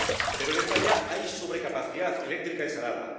Pero en España hay sobrecapacidad eléctrica instalada.